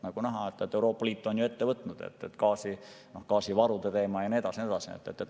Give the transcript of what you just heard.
On näha, et Euroopa Liit on ette võtnud gaasivarude teema, ja nii edasi ja nii edasi.